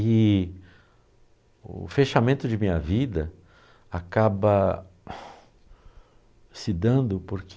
E o fechamento de minha vida acaba se dando porque...